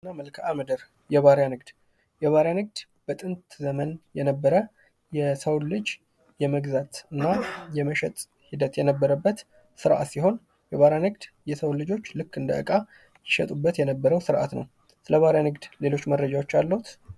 የባርያ ንግድ ከጥንት ጀምሮ የነበረ የሰውን ልጅ የመግዛትና የመሸጥ ሂደት የነበረበት ስርአት ሲሆን የባርያ ንግድ የሰዉ ልጆች እንደ እቃ ይሸጡበት የነበረው ስርአት ነው ። ስለ ባርያ ንግድ ሌሎች መረጃዎች አልዎት?